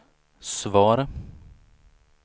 svar